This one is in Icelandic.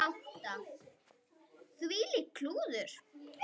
Þvílíkt klúður.